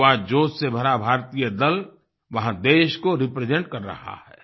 युवा जोश से भरा भारतीय दल वहाँ देश को रिप्रेजेंट कर रहा है